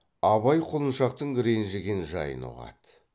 абай құлыншақтың ренжіген жайын ұғады